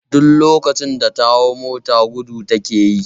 Duk lokacin da ta hau mota gudu take yi